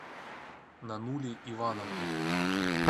нанули ивановна